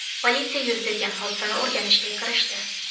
Politsiya yuz bergan hodisani o‘rganishga kirishdi.